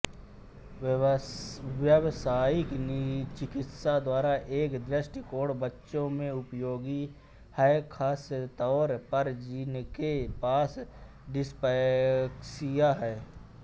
व्यावसायिक चिकित्सा द्वारा एक दृष्टिकोण बच्चों में उपयोगी है खासतौर पर जिनके पास डिस्पैक्सिया है